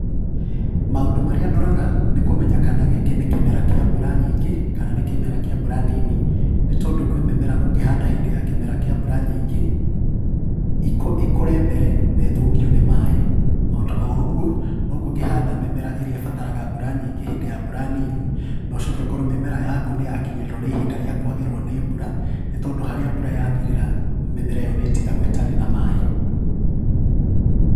Maũndũ marĩa ndoraga nĩ kũmenya kana gĩkĩ nĩ kĩmera kĩa mbura nyingĩ, kana nĩ kĩmera kĩa mbura nini, nĩ tondũ kwĩ mĩmera ũngĩhanda hĩndi ya kĩmera kĩa mbura nyingĩ, ĩkũ ĩkũre mbere na ĩthũkio nĩ maĩ. Ota oũguo noguo ũngĩhanda mĩmera ĩrĩa ĩbataraga mbura nyĩngĩ hĩndĩ ya mbura nini, na ũcoke ũkorwo mĩmera yaku nĩ yakinyĩrĩrwo nĩ ihinda rĩa kwagĩrwo nĩ mbura, nĩ tondũ harĩa mbura yathirĩra mĩmera ĩyo nĩ ĩtigagwo ĩtarĩ na maĩ.